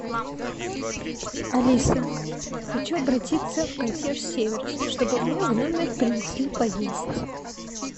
алиса хочу обратиться в консьерж сервис чтобы мне в номер принесли поесть